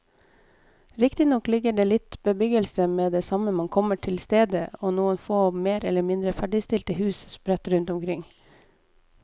Riktignok ligger det litt bebyggelse med det samme man kommer til stedet og noen få mer eller mindre ferdigstilte hus sprett rundt omkring.